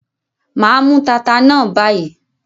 Mà á mú taata náà báyìí.